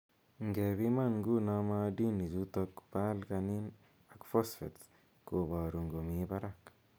Ngepiman nguno maadini chutok po alkalin ak phosphatse koboru ngomii barak.